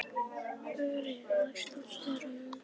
Ögri, læstu útidyrunum.